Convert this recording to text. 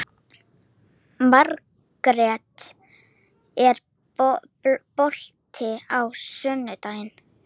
Margrjet, er bolti á sunnudaginn?